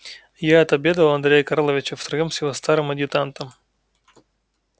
я отобедал у андрея карловича втроём с его старым адъютантом